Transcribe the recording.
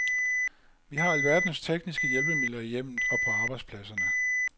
Vi har alverdens tekniske hjælpemidler i hjemmet og på arbejdspladserne.